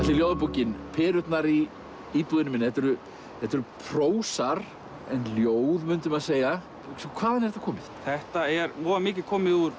ljóðabókin perurnar í íbúðinni minni þetta eru þetta eru prósar en ljóð mundi maður segja hvaðan er þetta komið þetta er mikið komið úr